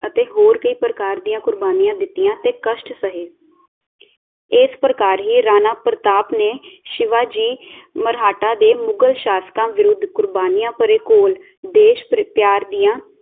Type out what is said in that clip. ਅਤੇ ਹੋਰ ਕਈ ਪ੍ਰਕਾਰ ਦੀਆਂ ਕੁਰਬਾਨੀਆਂ ਦਿਤੀਆਂ ਅਤੇ ਕਸ਼ਟ ਸਹੇ ਇਸ ਪ੍ਰਕਾਰ ਹੀ ਰਾਣਾ ਪ੍ਰਤਾਪ ਨੇ ਸ਼ਿਵਾਜੀ ਮਰਾਠਾ ਦੇ ਮੁਗ਼ਲ ਸ਼ਾਸਕਾਂ ਵਿਰੁੱਧ ਕੁਰਬਾਨੀਆਂ ਭਰੇ ਘੋਲ ਦੇਸ਼ ਪਿਆਰ ਦੀਆਂ